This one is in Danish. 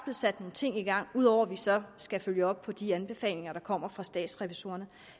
sat nogle ting i gang ud over at vi så skal følge op på de anbefalinger der kommer fra statsrevisorerne